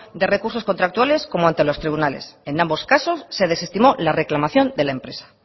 de recursos contractuales como ante los tribunales en ambos casos se desestimó la reclamación de la empresa